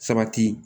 Sabati